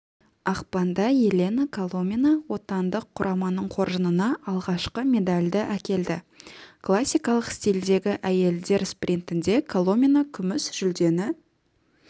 ақпанда елена коломина отандық құраманың қоржынына алғашқы медальді әкелді классикалық стильдегі әйелдер спринтінде коломина күміс жүлдені